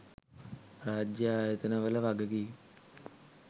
රාජ්‍ය ආයතන වල වගකීම්